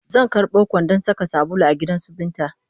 Zan karɓo kwandon saka sabulu a gidansu Binta